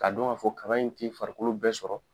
Ka dɔn k'a fɔ kaba in ti farikolo bɛɛ sɔrɔ.